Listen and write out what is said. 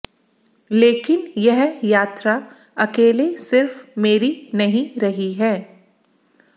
लेकिन यह यात्रा अकेले सिर्फ मेरी नहीं रही है